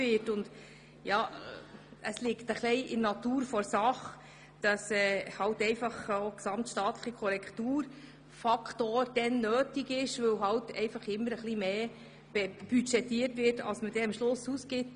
Es liegt in der Natur der Sache, dass ein gesamtstaatlicher Korrekturfaktor nötig ist, weil immer ein wenig mehr budgetiert wird, als man am Ende ausgibt.